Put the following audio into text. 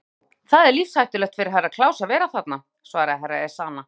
Já, það er lífshættulegt fyrir Herra Kláus að vera þarna, svaraði Herra Ezana.